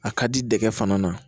A ka di dɛgɛ fana na